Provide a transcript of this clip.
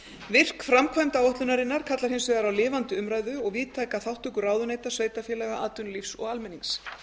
virk framkvæmd áætlunarinnar kallar hins vegar á lifandi umræðu og víðtæka þátttöku ráðuneyta sveitarfélaga atvinnulífs og almennings